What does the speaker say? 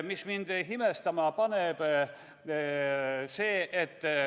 Mis mind imestama paneb?